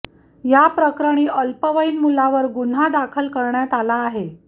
या प्रकरणी अल्पवयीन मुलावर गुन्हा दाखल करण्यात आला आहे